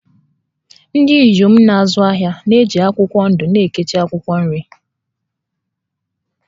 Ndị inyom na-azụ ahịa na-eji akwụkwọ ndụ echekwa akwụkwọ nri